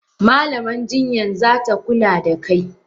Malaman jinyan zata kula da kai.